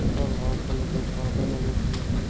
ऊपर white colour के पर्दे लगे हुए है।